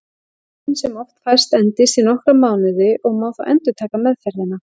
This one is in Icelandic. Batinn sem oft fæst endist í nokkra mánuði og má þá endurtaka meðferðina.